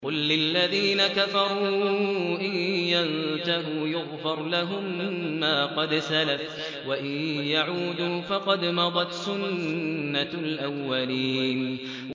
قُل لِّلَّذِينَ كَفَرُوا إِن يَنتَهُوا يُغْفَرْ لَهُم مَّا قَدْ سَلَفَ وَإِن يَعُودُوا فَقَدْ مَضَتْ سُنَّتُ الْأَوَّلِينَ